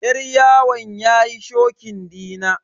Yar yawon yayi shokin dina.